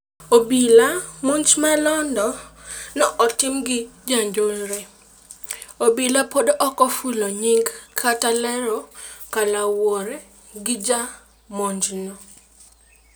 Obila:monj ma londo ne otim gi jonjore. Obila podi ok ofulo nying kata ler kaluwore gi ja monjno.